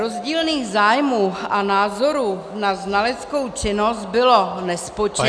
Rozdílných zájmů a názorů na znaleckou činnost bylo nespočetně -